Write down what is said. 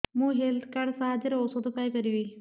ମୁଁ health card ସାହାଯ୍ୟରେ ଔଷଧ ପାଇ ପାରିବି